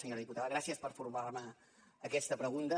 senyora diputada gràcies per formular me aquesta pregunta